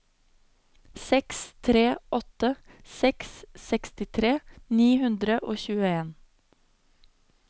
seks tre åtte seks sekstitre ni hundre og tjueen